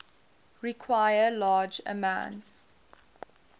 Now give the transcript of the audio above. require large amounts